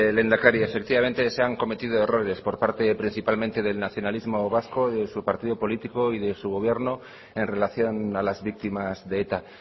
lehendakari efectivamente se han cometido errores por parte principalmente del nacionalismo vasco de su partido político y de su gobierno en relación a las víctimas de eta